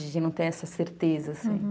De não ter essa certeza, assim.